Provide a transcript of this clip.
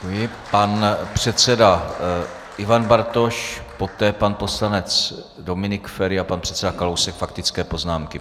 Pan předseda Ivan Bartoš, poté pan poslanec Dominik Feri a pan předseda Kalousek - faktické poznámky.